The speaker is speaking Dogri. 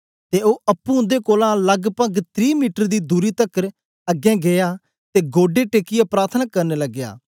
ते ओ अप्पुं उन्दे कोलां लगपग त्री मीटर दी दूरी तकर अगें गीया ते गोढे टेकियै प्रार्थना करन लगया